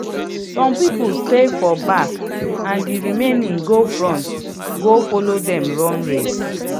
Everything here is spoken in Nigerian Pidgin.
some people stay for back and the remaining go front go follow dem run race